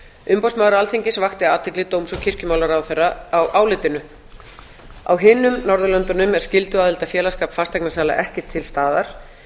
umboðsmaður alþingis vakti athygli dóms og kirkjumálaráðherra á álitinu á hinum norðurlöndunum er skylduaðild að félagsskap fasteignasala ekki til staðar